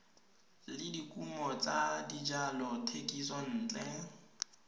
le dikumo tsa dijalo thekisontle